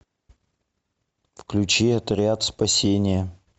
включи отряд спасения